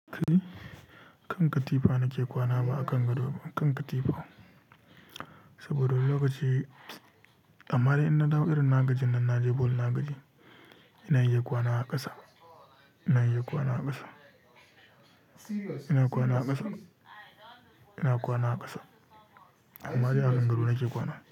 Ka yi? Kan katifa nake kwana ba a kan gado ba, kan katifa. Saboda wani lokaci, amma dai in na dawo irin na gajin nan na je bol na gaji, ina iya kwana a ƙasa, ina iya kwana a ƙasa, ina kwana a ƙasa, ina kwana a ƙasa. Amma dai a kan gado nake kwana.